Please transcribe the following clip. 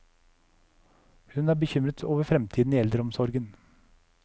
Hun er bekymret over fremtiden i eldreomsorgen.